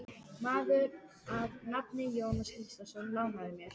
Maður að nafni Jón Gíslason lánaði mér.